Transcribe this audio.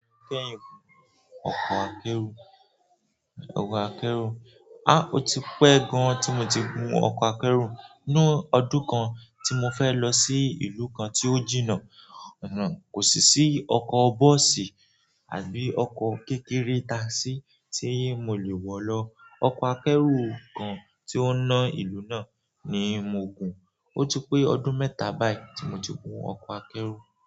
Ọkọ̀ akẹ́rù ọkọ̀ akẹ́rù. Áh, ó ti pẹ́ gan tí mo ti gun ọkọ̀ akẹ́rù. Ni ọdún kan tí mo fẹ́ lọ sí ìlú kan tí ó jìnnà, kò sì sí ọkọ̀ bọ́ọ̀sì àbí ọkọ̀ kékeré táasì tí mo lè wọ̀ lọ. Ọkọ̀ akẹ́rù kan tí ó ń ná ìlú náà ni mo gùn. Ó ti pẹ́ ọdún mẹ́ta báyìí tí mo ti gun ọkọ̀ akẹ́rù.